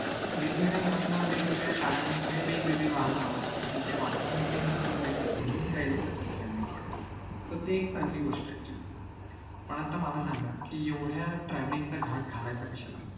वेगवगेळ्या जणांना वेगवगेळ्या कारणामुळे वेगवेगळी वाहन आवडतात आणि त्या वाहनामध्ये बसून जायचं म्हणून काही लोकांना travelling आवडतं तर ते एक चांगली गोष्ट आहे पण आता मला सांगा कि एवढ्या travelling च घाट घालायचा कशाला